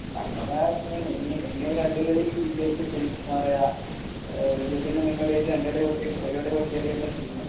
ഇനിയും രണ്ട് കളി വിജയിച്ച് കഴിഞ്ഞാൽ ആഹ് വിജയത്തിൻ്റെ മുന്നോടി ആയിട്ട് രണ്ട് കളി തോറ്റു ഒരു കാളി തോറ്റ് കഴിഞ്ഞാൽ പിന്നെ തീർന്നു